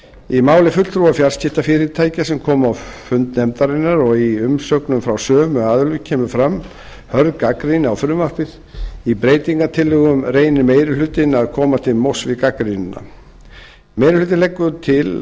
í máli fulltrúa fjarskiptafyrirtækja sem komu á fund nefndarinnar og í umsögnum frá sömu aðilum kemur fram hörð gagnrýni á frumvarpið í breytingartillögum reynir meiri hlutinn að koma til móts við gagnrýnina meiri hlutinn leggur til